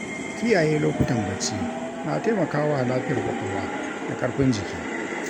Kiyaye lokutan bacci na taimaka wa lafiyar ƙwaƙwalwa da ƙarfin jiki.